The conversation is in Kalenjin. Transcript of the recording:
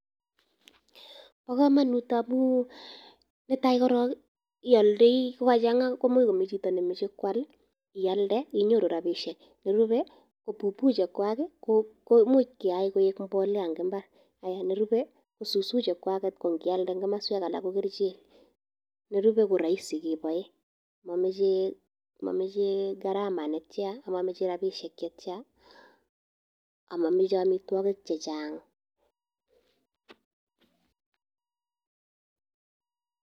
Po kamanut amu netai korol i, ialdai ko ka chang'a komuch ko mi chito ne mache koal, ialde inyoru rapishek. Nerupe ko pupu chekwaki, komuch keyai koik mbolea eng' mbar. Nerupe ko susu chechwaket ko ngialde eng' komaswek alak ko kerichek. Nerupe ko raisi ke pae. Ma mache gharama ama mache rapisiek che tia, ama mache amitwogiik che chang'.